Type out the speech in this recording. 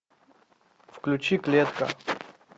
включи клетка